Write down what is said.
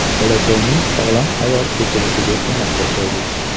Bolakayning sog‘lom hayot kechirishiga ko‘maklashaylik.